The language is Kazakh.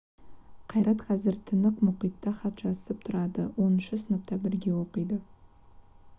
қайрат қазір тынық мұхитта хат жазысып тұрады оныншы сыныпта бірге оқиды